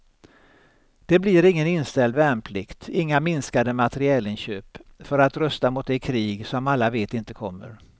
Det blir ingen inställd värnplikt, inga minskade materielinköp för att rusta mot det krig som alla vet inte kommer.